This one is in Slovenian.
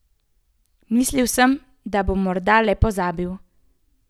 Mislil sem, da bom morda le pozabil.